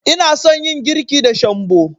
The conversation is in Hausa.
Ina son yin girki da shambo.